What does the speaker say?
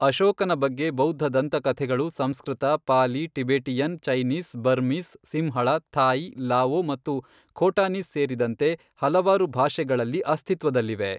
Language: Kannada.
ಅಶೋಕನ ಬಗ್ಗೆ ಬೌದ್ಧ ದಂತಕಥೆಗಳು Sanskrit, Pali, Tibetan, Chinese, Burmese, Sinhala, Thai, Lao ಮತ್ತು ಖೋಟಾನೀಸ್ ಸೇರಿದಂತೆ ಹಲವಾರು ಭಾಷೆಗಳಲ್ಲಿ ಅಸ್ತಿತ್ವದಲ್ಲಿವೆ.